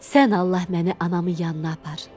Sən Allah məni anamın yanına apar.